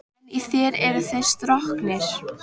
En í þér eru þeir stroknir.